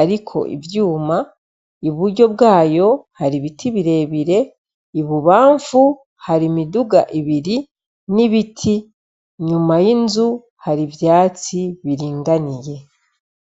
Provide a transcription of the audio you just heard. ariko ivyuma, iburyo bwayo hari ibiti birebire, ibubamfu hari imiduga ibiri n'ibiti, inyuma y'inzu hari ivyatsi biringaniye.